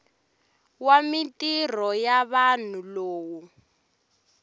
wa mintirho ya vanhu lowu